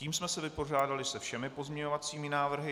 Tím jsme se vypořádali se všemi pozměňovacími návrhy.